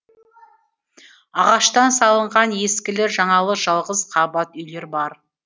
ағаштан салынған ескілі жаңалы жалғыз қабат үйлері бар